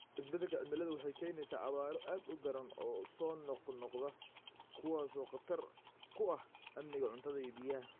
Isbeddelka cimiladu waxay keenaysaa abaaro aad u daran oo soo noqnoqda, kuwaas oo khatar ku ah amniga cuntada iyo biyaha.